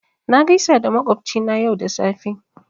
Na gaisa da makwabci na yau da safe